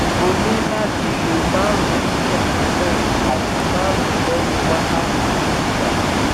o ni lati lo marun lekanna ati marun lehin wakati mejila